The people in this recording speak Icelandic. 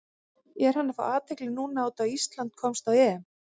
Er hann að fá athygli núna út af Ísland komst á EM?